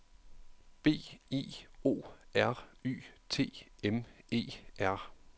B I O R Y T M E R